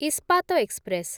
Ispat express